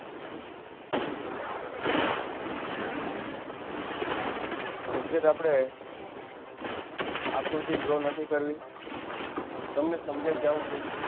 exact આપણે આકૃતિ Draw નથી કરવ તમને સમજાઈ જવું જોઈએ.